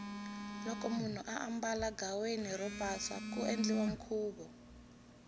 loko munhu ambala ghaweni ro pasa ku endliwa nkhuvu